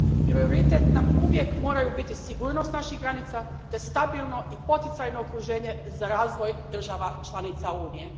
Prioritet nam uvijek moraju biti sigurnost naših granica te stabilno i poticajno okruženje za razvoj država članica Unije.